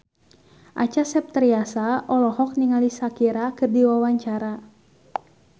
Acha Septriasa olohok ningali Shakira keur diwawancara